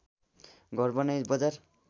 घर बनाई बजार